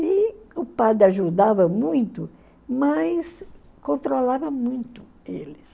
E o padre ajudava muito, mas controlava muito eles.